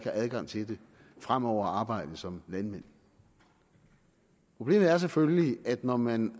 har adgang til den fremover at arbejde som landmand problemet er selvfølgelig at når man